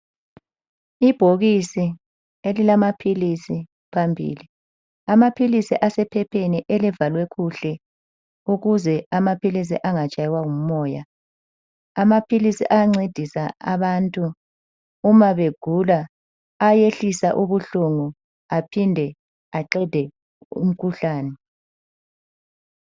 Ibhokisi elilamaphilisi phambili. Amaphilisi asephepheni elivalwe kuhle ukuze amaphilisi engatshaywa ngumoya. Amaphilisi ayancedisa abantu uma begula. Ayayehlisa ubuhlungu aphinde aqede umkhuhlane.